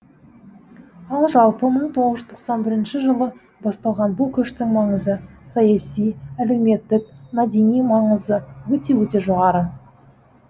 ал жалпы мың тоғыз жүз тоқсан бірінші жылы басталған бұл көштің маңызы саяси әлеуметтік мәдени маңызы өте өте жоғары